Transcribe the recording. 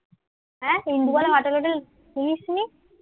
এ ইন্দুবালা ভাতের হোটেল শুনিস নি?